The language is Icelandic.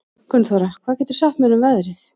Gunnþóra, hvað geturðu sagt mér um veðrið?